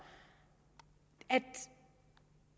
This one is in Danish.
at